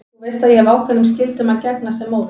Þú veist að ég hef ákveðnum skyldum að gegna sem móðir.